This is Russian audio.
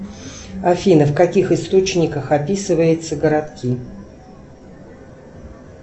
афина в каких источниках описывается городки